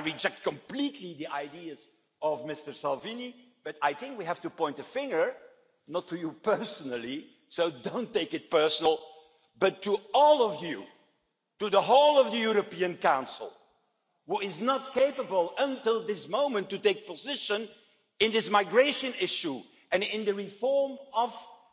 I reject completely the ideas of Mr Salvini, but I think we have to point the finger not at you personally, so don't take it personally, but at all of you, at the whole of the European Council which is not capable until this moment to take a position on this migration issue and on the reform of